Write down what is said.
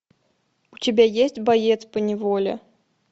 у тебя есть боец по неволе